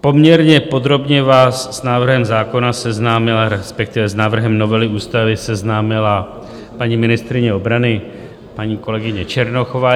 Poměrně podrobně vás s návrhem zákona seznámila, respektive s návrhem novely ústavy seznámila paní ministryně obrany, paní kolegyně Černochová.